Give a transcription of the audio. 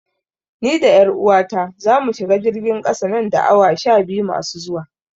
Ni da 'yar uwata zamu shiga jirgin ƙasa nan da awa sha biyu masu zuwa.